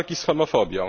walki z homofobią.